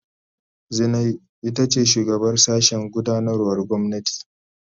Zinai ita ce shugabar sashen gudanarwar gwamnati.